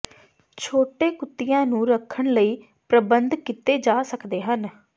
ਛੋਟੇ ਕੁੱਤਿਆਂ ਨੂੰ ਰੱਖਣ ਲਈ ਪ੍ਰਬੰਧ ਕੀਤੇ ਜਾ ਸਕਦੇ ਹਨ